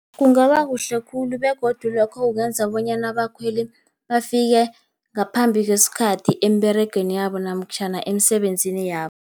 Kungaba kuhle khulu, begodu lokho kungenza bonyana abakhweli bafike ngaphambi kwesikhathi emberegweni yabo namtjhana emisebenzini yabo.